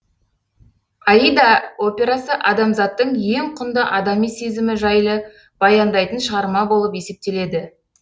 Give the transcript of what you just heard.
аида операсы адамзаттың ең құнды адами сезімі жайлы баяндайтын шығарма болып есептеледі